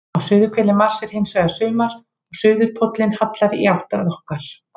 Á suðurhveli Mars er hins vegar sumar og suðurpóllinn hallar í átt að okkar.